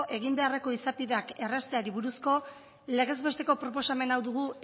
egin beharreko izapideak errazteri buruzko legez besteko proposamen hau dugu